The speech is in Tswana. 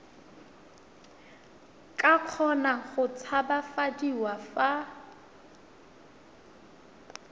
ka kgona go tshabafadiwa fa